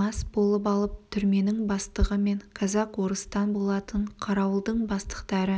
мас болып алып түрменің бастығы мен казак-орыстан болатын қарауылдың бастықтары